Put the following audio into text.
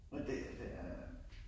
Men det det er